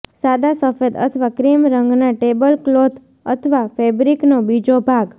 સાદા સફેદ અથવા ક્રીમ રંગના ટેબલક્લોથ અથવા ફેબ્રિકનો બીજો ભાગ